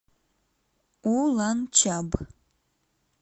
уланчаб